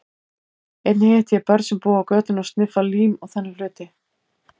Einnig hitti ég börn sem búa á götunni og sniffa lím og þannig hluti.